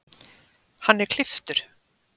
Hann er klipptur